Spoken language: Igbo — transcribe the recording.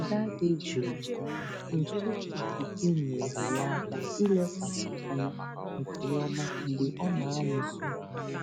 Ụda dị jụụ nke okike nyeere ya aka ilekwasị anya nke ọma mgbe ọ na-amụ ihe